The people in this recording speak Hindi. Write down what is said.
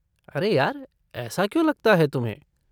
अरे यार, ऐसा क्यों लगता है तुम्हें?